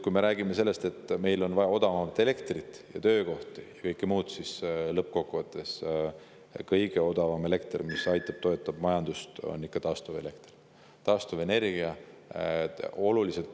Kui me räägime sellest, et meil on vaja odavamat elektrit, töökohti ja kõike muud, siis lõppkokkuvõttes kõige odavam elekter, mis toetab majandust, on ikkagi taastuvelekter, taastuvenergia.